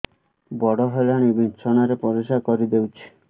ବଡ଼ ହେଲାଣି ବିଛଣା ରେ ପରିସ୍ରା କରିଦେଉଛି